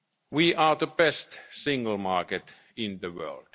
single market. We are the best single market